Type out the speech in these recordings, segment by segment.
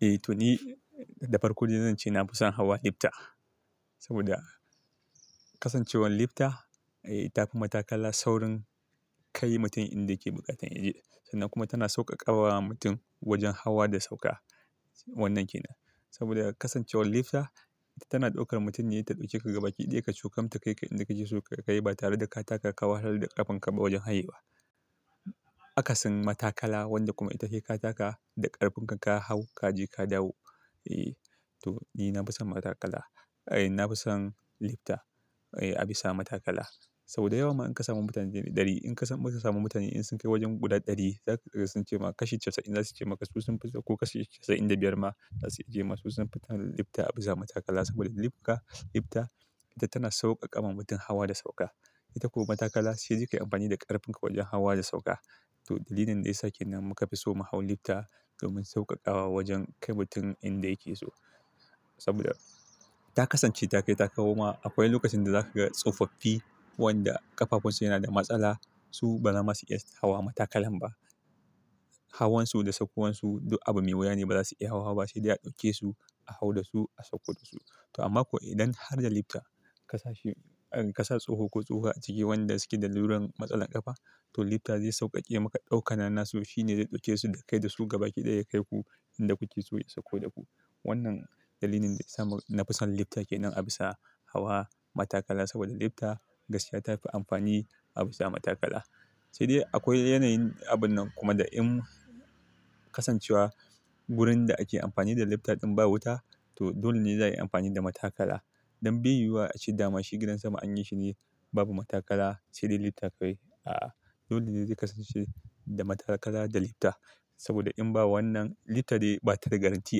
Eh to ni, da farko dai zan ce na fi son hawa lifta. Saboda kasancewar lifta, eh ta fi matakala saurin kai mutum inda yake buƙatar ya je sannan kuma tana sauƙaƙawa mutum wajen hawa da sauƙa. Wannan ke nan. Saboda kasancewar lifta, ita tana ɗaukar mutum ne, ita ta ɗauke ka gaba kiɗaya kacokam ta kai ka inda kake so ka kai ba tare da ka taka ka wahalar da ƙafan ka ba wajen hayewa. Akasin matakala wanda kuma ita he ka taka da ƙarfin ka ka hau kaje ka dawo. Eh to ni na fi son matakala. Eh na fi son lifta. Eh a bisa matakala. Saboda yawa ma in ka samu mutane ɗari, in ka samu masu samu mutane in sun kai wajen guda ɗari, za su cema kashi casa'in za su ce maka su sun fi so ko kashi casa'in da biyar ma za su yi ce ma su sun fi son lifta a bisa matakala saboda lifka-- lifta ita tana sauƙaƙawa mutum hawa da sauka. Ita ko matakala sai dai kai amfani da ƙarfin ka wajen hawa da sauka. To dalilin da yasa kenan muka fi so mu hau lifta domin sauƙaƙawa wajen kai mutum inda yake so. Saboda ta kasance ta kai ta kawo ma akwai lokacin da za ka ga tsofaffi wanda ƙafafunsu yana da matsala. Su ba za ma su iya hawa matakalan ba. Hawan su da sauƙo wan su du abu mai wuya ne ba za su iya hawa ba sai dai a ɗauke su, a hau da su, a sauko da su. To amma ko idan har da lifta ka sashi, ka sa tsoho ko tsohuwa a ciki wanda suke da laruran matsalar ƙafa, to lifta zai sauƙaƙe maka ɗaukannan su shi ne zai ɗauke su da kai da su gaba kiɗaya yakaiku inda kuke so ya sauƙo da ku. Wannan dalilin da ya sa na fi son lifta ke nan a bisa hawa matakala saboda lifta gaskiya ta fi amfani a bisa matakala. Sai dai akwai yanayin abun nan kuma da in kasancewa wurin da ake amfani da lifta ɗin babu wuta to dole ne za a yi amfani da matakala. Don biyu wa a ce dama shi gidan sama anyi shine babu matakala sai dai lifta ka wai. A'a dole ne zai kasance da matakala da lifta. Saboda in ba wannan lifta dai ba ta da garantti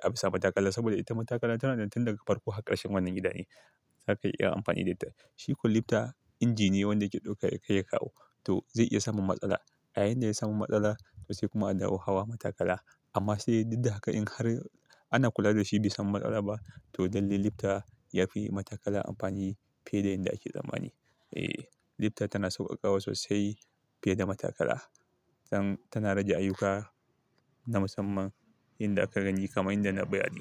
a bisa matakala saboda ita matakala tananan tun daga farko har ƙarshen wannan gida ne. Zaka iya amfani da ita. Shikwa lifta inji ne wanda yake ɗauka yakai yakawo. To zai iya samun matsala. A yayin da ya samu matsala to sai kuma a dawo hawa matakala. Amma sai duddaha ka in har ana kula da shi bai samu matsala ba to lalle lifta ya fi matakala amfani fiye da inda ake tsammani. Eh lifta tana sauƙaƙawa sosai fiye da matakala. Tana rage ayyuka na musamman inda aka gani kamar inda na bayani.